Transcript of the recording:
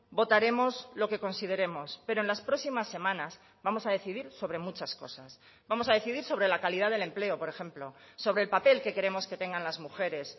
votaremos lo que consideremos pero en las próximas semanas vamos a decidir sobre muchas cosas vamos a decidir sobre la calidad del empleo por ejemplo sobre el papel que queremos que tengan las mujeres